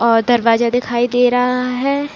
और दरवाजा दिखाई दे रहा है।